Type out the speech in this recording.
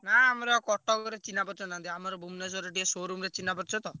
ନା ଆମର କଟକରେ ଚିହ୍ନା ପରିଚୟ ନାହାନ୍ତି। ଆମର ଭୂବନେଶ୍ବର ଟିକେ showroom ରେ ଚିହ୍ନା ପରିଚୟ ତ।